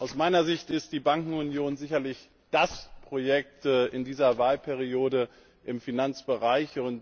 Aus meiner Sicht ist die Bankenunion sicherlich das wichtigste Projekt in dieser Wahlperiode im Finanzbereich.